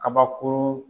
Kabakuru